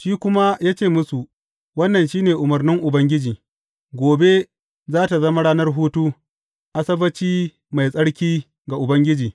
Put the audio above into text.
Shi kuma ya ce musu, Wannan shi ne umarnin Ubangiji, Gobe za tă zama ranar hutu, Asabbaci mai tsarki ga Ubangiji.